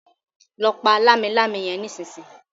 lọ pá Lámilámi yén nísìsiyìí!